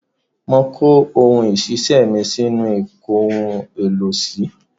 Mo kó ohun iṣẹ́ mi sínú ìkóhun-èlò-sí.